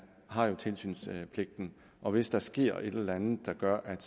har tilsynspligten og hvis der sker et eller andet der gør at